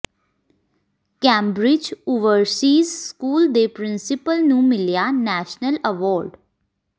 Cambridge overseas school ਦੇ principal ਨੂੰ ਮਿਲਿਆ ਨੈਸ਼ਨਲ ਐਵਾਰਡ